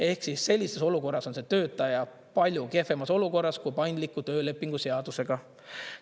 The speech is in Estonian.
Ehk sellises olukorras on see töötaja palju kehvemas olukorras kui paindliku töölepingu seadusega.